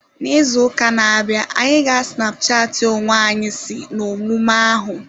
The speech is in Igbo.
N'izu ụka na-abịa, anyị ga snapchatị onwe anyi si n'omume ahu.